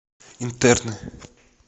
интерны